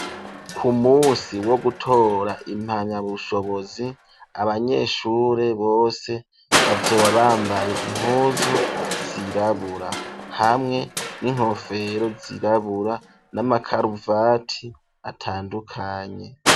Ku musi wo gutora impanya bushobozi, abanyeshure bose, bazoba bambaye impuzu zirabura, hamwe n'inkofero zirabura, n'amakaruvati atandukanye.